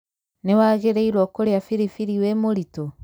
Nĩ waagĩrĩiruo kũrĩa biribiri wĩ mũritũ?